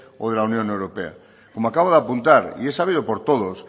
o de la unión europea como acabo de apuntar y es sabido por todos